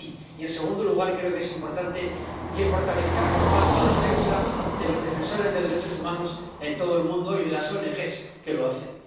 Y, en segundo lugar, creo que es importante que fortalezcamos más la defensa de los defensores de los derechos humanos en todo el mundo y de las ONG que lo hacen.